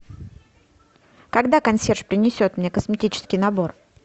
когда консьерж принесет мне косметический набор